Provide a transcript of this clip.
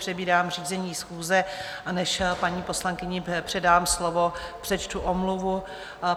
Přebírám řízení schůze, a než paní poslankyni předám slovo, přečtu omluvu.